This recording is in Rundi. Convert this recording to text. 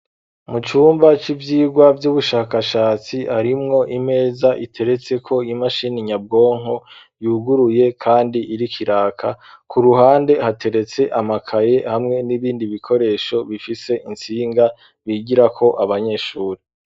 Mu cumba c'ivyirwa vy'ubushakashatsi harimwo imeza iteretse ko imashini nyabwonko yuguruye, kandi iri kiraka ku ruhande hateretse amakaye hamwe n'ibindi bikoresho bifise insinga bigirako abanyeshuri.